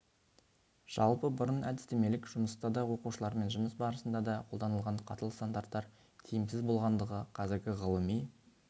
жалпы бұрын әдістемелік жұмыста да оқушылармен жұмыс барысында да қолданылған қатал стандарттар тиімсіз болғандығы қазіргі ғылыми